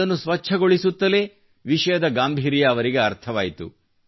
ಇದನ್ನು ಸ್ವಚ್ಛಗೊಳಿಸುತ್ತಲೇ ವಿಷಯದ ಗಾಂಭೀರ್ಯ ಅವರಿಗೆ ಅರ್ಥವಾಯಿತು